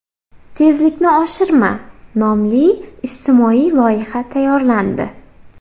Tezlikni oshirma” nomli ijtimoiy loyiha tayyorlandi.